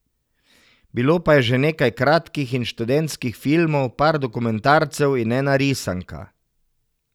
Bilo pa je že nekaj kratkih in študentskih filmov, par dokumentarcev in ena risanka.